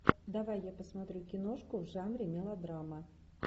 давай я посмотрю киношку в жанре мелодрама